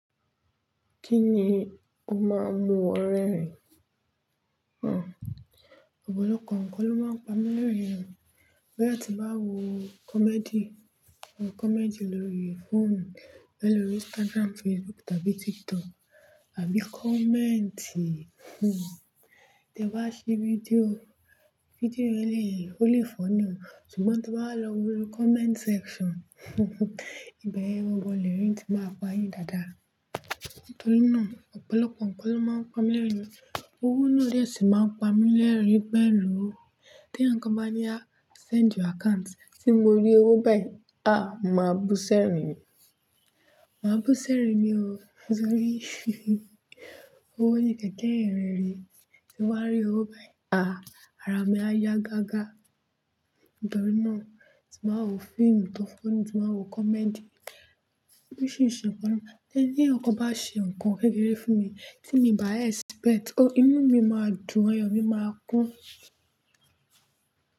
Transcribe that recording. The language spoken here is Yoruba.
Kíni o máa ń mu ọ rẹ̀ ẹrin Ọ̀pọ̀lọpọ̀ ǹkan ló máa ń pa mí lẹ́rìn-ín. Bóyá ti bá wo comedy, comedy lórí fóònù, lórí Instagram, Facebook tàbí TikTok àbí comment, Tẹ́ bá sí fídíò, fídíò yẹn lè fọ́ní ṣùgbọ́n tí wá lọ wo comment section, bẹ́ẹ̀ wọ́n gbọdọ̀ lérìn-ín tí máa pa yín dáadáa. Nítorí náà, ọ̀pọ̀lọpọ̀ ǹkan ló máa ń pa mí lẹ́rìn-ín. Owó náà ni ó sì máa ń pa mí lẹ́rìn-ín pẹ́lú. Tí ǹkan bá ní a send your account, tí mo rí owó báyìí, a! Màá bú sẹ́rìn-ín ni. Màá bú sẹ́rìn-ín ni o, nítorí owó ni kẹ̀kẹ́ ìyìn rere Tí ń bá rí owó báyìí, a! Ara mi á yá gágá. Nítorí náà, tí màá wo fíìmù tó fọ́ni, tí màá wo comedy. Bó ṣì se ǹkan, tí ǹkan bá ṣe ǹkan kékeré fún mi tí mi bàá expect, ó inú mi máa dùn, ayọ̀ mi máa kún.